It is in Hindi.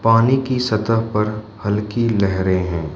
पानी की सतह पर हल्की लहरें हैं।